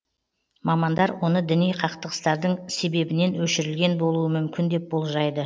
мамандар оны діни қақтығыстардың себебінен өшірілген болуы мүмкін деп болжайды